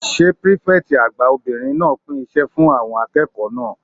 Ṣé pírífẹ̀tì àgbà obìnrin náà pín iṣẹ́ fún àwọn akẹ́kọ̀ọ́ náà?